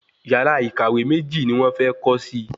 Yàrá ìkàwé méjì ni wón fé kó si